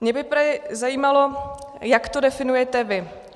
Mě by zajímalo, jak to definujete vy.